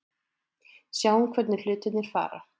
Sjáum hvernig hlutirnir fara.